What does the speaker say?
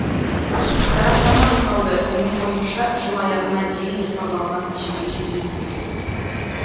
сараптама жасалды менің ойымша жыл аяғына дейін жоспарланған межеге жетуіміз керек